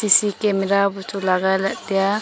cc camara bu chu legai ley ngan tiya.